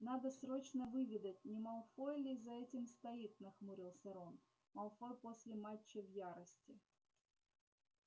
надо срочно выведать не малфой ли за этим стоит нахмурился рон малфой после матча в ярости